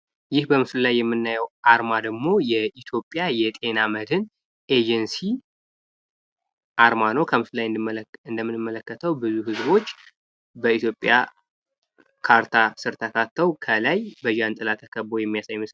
ይህ በምስሉ ላይ የምናየው አርማ ደሞ የኢትዮጵያ የጤና መድህን ኤጀንሲ አርማ ነው ፤ ብዙ ሰዎች እንደምንመለከታቸው በኢትዮጵያ ካርታ ስር ተካተው፣ ከላይ በዣንጥላ ስር ተከበው የሚያሳይ ምስል ነው።